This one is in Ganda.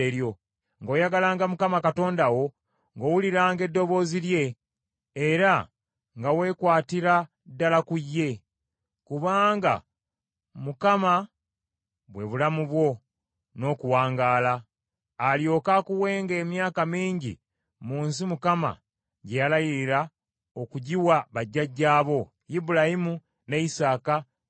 ng’oyagalanga Mukama Katonda wo, ng’owuliranga eddoboozi lye, era nga weekwatira ddala ku ye. Kubanga Mukama bwe bulamu bwo n’okuwangaala; alyoke akuwenga emyaka mingi mu nsi Mukama gye yalayirira okugiwa bajjajjaabo: Ibulayimu, ne Isaaka, ne Yakobo.